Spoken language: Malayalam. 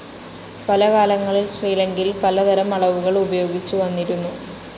പല കാലങ്ങളിൽ ശ്രീലങ്കയിൽ പല തരം അളവുകൾ ഉപയോഗിച്ചുവന്നിരുന്നു.